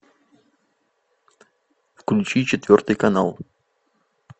включи четвертый канал